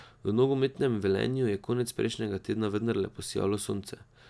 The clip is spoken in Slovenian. V nogometnem Velenju je konec prejšnjega tedna vendarle posijalo sonce.